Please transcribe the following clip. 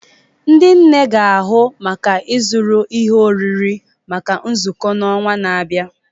ndị nne ga-ahụ maka ịzụrụ ihe oriri maka nzukọ n'ọnwa na-abịa